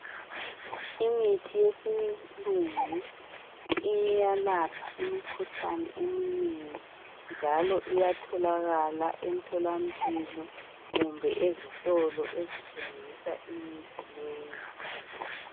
imithi yesilungu iyalapha imikhuhlane eminengi njalo iyatholakala emthola mpilo kumbe ezitolo ezithengisa imithi leyi